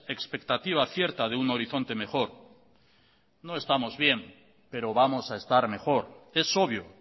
expectativa cierta de un horizonte mejor no estamos bien pero vamos a estar mejor es obvio